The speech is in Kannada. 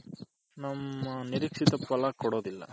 ನಮ್ಮ ನಿರೀಕ್ಷಿತ ಪಲಗಳು ಕೊಡೋದಿಲ್ಲ.